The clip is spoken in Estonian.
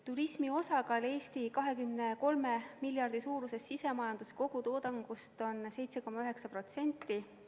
Turismi osakaal Eesti 23 miljardi suuruses sisemajanduse kogutoodangus on 7,9%.